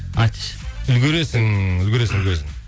айтшы үлгересің үлгересің өзің